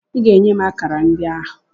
Ị ga-enye m akara ndị ahụ!